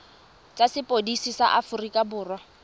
tsa sepodisi sa aforika borwa